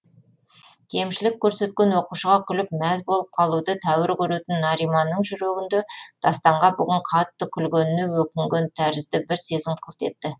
кемшілік көрсеткен оқушыға күліп мәз болып қалуды тәуір көретін нариманның жүрегінде дастанға бүгін қатты күлгеніне өкінген тәрізді бір сезім қылт етті